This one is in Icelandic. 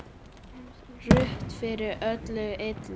Ruth fyrir öllu illu.